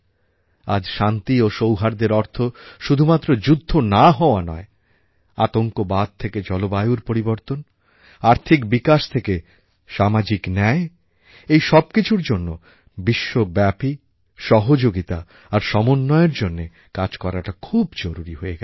আজ শান্তি ও সৌহার্দ্যের অর্থ শুধুমাত্র যুদ্ধ না হওয়া নয় আতঙ্কবাদ থেকে জলবায়ুর পরিবর্তন আর্থিক বিকাশ থেকে সামাজিক ন্যায় এই সব কিছুর জন্য বিশ্বব্যাপী সহযোগিতা আর সমন্বয়ের জন্যে কাজ করাটা খুব জরুরি হয়ে গেছে